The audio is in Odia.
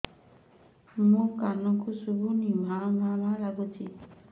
ମୋ କାନକୁ ଶୁଭୁନି ଭା ଭା ଲାଗୁଚି